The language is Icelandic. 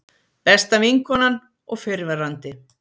Besta vinkonan og fyrrverandi